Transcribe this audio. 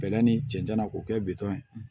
Bɛlɛ ni cɛncɛn na k'o kɛ bitɔn ye